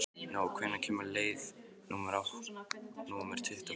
Nói, hvenær kemur leið númer tuttugu og fimm?